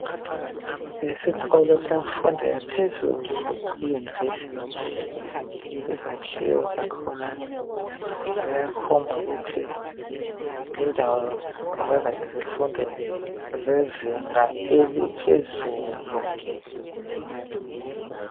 Esikolo semfundo yaphezulu iuniversity izakhiwo zakhona ziyakhomba ukuthi yindawo yokwenza izifundo zezinga eliphezulu.